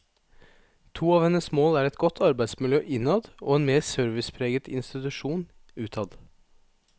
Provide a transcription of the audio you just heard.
To av hennes mål er et godt arbeidsmiljø innad og en mer servicepreget institusjon utad.